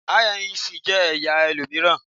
INEC jẹ ẹya olominira